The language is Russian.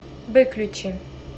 выключи